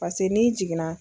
Pase n'i jiginna.